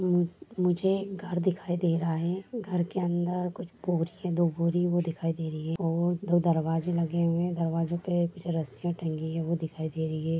मुझे घर दिखाइ दे रहा है घर के अंदर कुछ बोरी है हे दो बोरी वो दिखाई दे रही है और दो दरवाजा लघ है दरवाजा पे कुछ रस्सियां तंगी है वह दिखाई दे रही है।